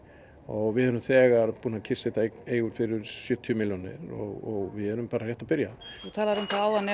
og við erum þegar búin að kyrrsetja eignir fyrir um sjötíu milljónir og við erum bara rétt að byrja þú talaðir um það áðan